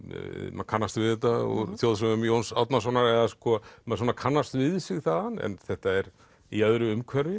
maður kannast við þetta úr þjóðsögum Jóns Árnasonar eða sko maður kannast við sig þaðan en þetta er í öðru umhverfi